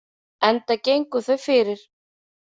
Enda gengu þau fyrir.